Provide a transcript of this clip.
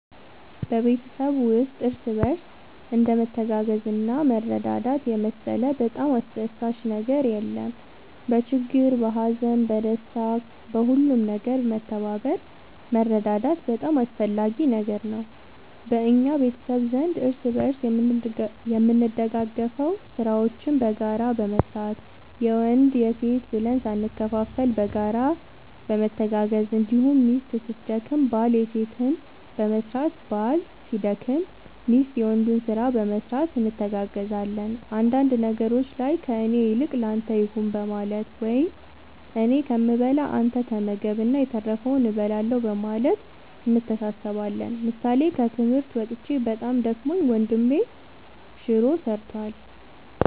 በቤተሰብ ውስጥ እርስ በርስ እንደ መተጋገዝና መረዳዳት የመሰለ በጣም አስደሳች ነገር የለም በችግር በሀዘን በደስታ በሁሉም ነገር መተባበር መረዳዳት በጣም አስፈላጊ ነገር ነው በእኛ ቤተሰብ ዘንድ እርስ በርስ የምንደጋገፈው ስራዎችን በጋራ በመስራት የወንድ የሴት ብለን ሳንከፋፈል በጋራ በመተጋገዝ እንዲሁም ሚስት ስትደክም ባል የሴትን በመስራት ባል ሲደክም ሚስት የወንዱን ስራ በመስራት እንተጋገዛለን አንዳንድ ነገሮች ላይ ከእኔ ይልቅ ለአንተ ይሁን በማለት ወይም እኔ ከምበላ አንተ ተመገብ እና የተረፈውን እበላለሁ በማለት እንተሳሰባለን ምሳሌ ከትምህርት መጥቼ በጣም ደክሞኝ ወንድሜ ሹሮ ሰርቷል።